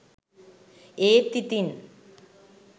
ඒත් ඉතින්